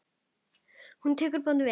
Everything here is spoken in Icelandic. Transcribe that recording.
Hún tók bón minni vel.